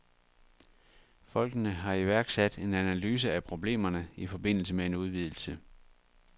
Folkene har iværksat en analyse af problemerne i forbindelse med en udvidelse.